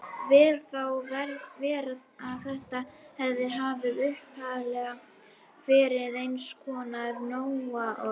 Vel má vera að þetta heiti hafi upphaflega verið eins konar nóaorð.